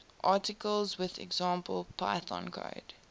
articles with example python code